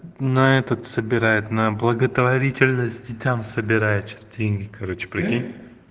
на этот собирает на благотворительность детям собирать деньги короче прикинь